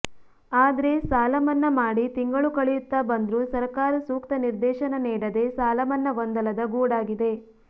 ಆದ್ರೆ ಸಾಲಮನ್ನಾ ಮಾಡಿ ತಿಂಗಳು ಕಳೆಯುತ್ತಾ ಬಂದ್ರೂ ಸರಕಾರ ಸೂಕ್ತ ನಿರ್ದೇಶನ ನೀಡದೆ ಸಾಲಮನ್ನಾ ಗೊಂದಲದ ಗೂಡಾಗಿದೆ